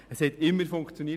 Es hat immer funktioniert.